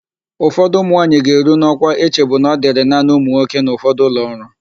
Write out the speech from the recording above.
Ụfọdụ ụmụnwaanyị ga-eru n'ọkwa echebu na ọ dịrị naanị ụmụnwoke n'ụfọdụ ụlọọrụ.